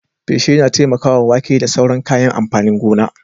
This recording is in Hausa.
Feshi yana taimakawa wake da sauran kayan amfanin gona.